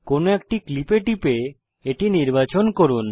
কোনো একটি ক্লিপে টিপে এটি নির্বাচন করুন